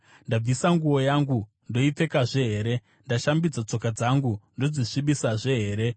Ndabvisa nguo yangu, ndoipfekazve here? Ndashambidza tsoka dzangu, ndodzisvibisazve here?